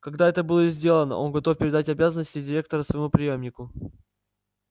когда это будет сделано он готов передать обязанности директора своему преемнику